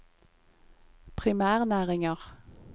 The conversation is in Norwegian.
primærnæringer